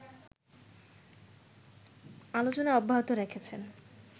আলোচনা অব্যাহত রেখেছেন।